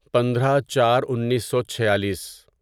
پندرہ چار انیسو چھیالیس